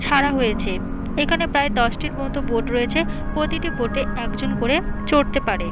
ছাড়া হয়েছে। এখানে প্রায় দশটির মতো বোট রয়েছে প্রতিটি বোট -এ একজন করে চড়তে পারে।